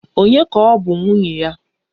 Ònye ka ọ bụ nwunye ya?